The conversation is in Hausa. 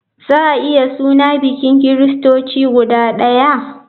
Za a iya suna bikin kiristoci guda ɗaya?